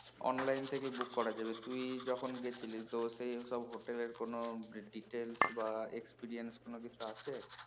online থেকে book করা যাবে তুই যখন গেছিলিস তো সেই সব হেটেলের কোনো details বা experience কোনো কিছু আছে?